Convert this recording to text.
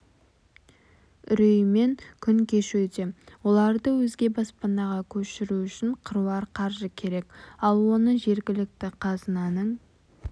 үреймен күн кешуде оларды өзге баспанаға көшіру үшін қыруар қаржы керек ал оны жергілікті қазынаның